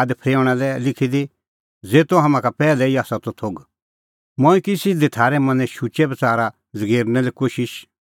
आद फरेऊंणा लै लिखी दी ज़ेतो तम्हां का पैहलै ई आसा थोघ मंऐं की सिधी थारै मनें शुचै बच़ारा ज़गेरने कोशिश